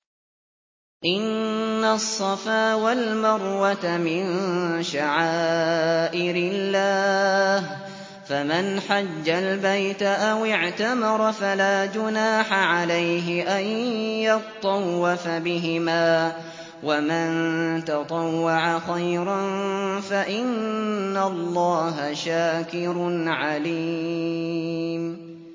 ۞ إِنَّ الصَّفَا وَالْمَرْوَةَ مِن شَعَائِرِ اللَّهِ ۖ فَمَنْ حَجَّ الْبَيْتَ أَوِ اعْتَمَرَ فَلَا جُنَاحَ عَلَيْهِ أَن يَطَّوَّفَ بِهِمَا ۚ وَمَن تَطَوَّعَ خَيْرًا فَإِنَّ اللَّهَ شَاكِرٌ عَلِيمٌ